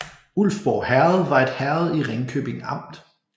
Ulfborg Herred var et herred i Ringkøbing Amt